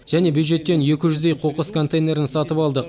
және бюджеттен екі жүздей қоқыс контейнерін сатып алдық